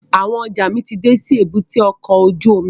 Àwọn ọjọ́ mi ti dé sí èbúté ọkọ̀ ojú omi